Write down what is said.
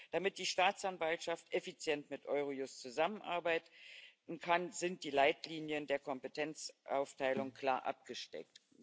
Damit die Staatsanwaltschaft effizient mit Eurojust zusammenarbeiten kann, sind die Leitlinien der Kompetenzaufteilung klar abgesteckt.